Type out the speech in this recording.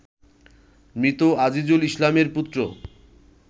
মৃত আজিজুল ইসলামের পুত্র